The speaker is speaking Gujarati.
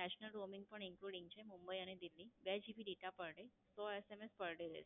national roaming પણ Inclunding છે. મુંબઈ અને દિલ્લી. બે GB data per day સો SMS per day.